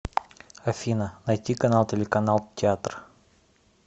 афина найти канал телеканал театр